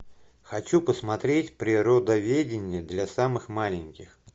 хочу посмотреть природоведение для самых маленьких